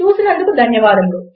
చూసినందుకు ధన్యవాదములు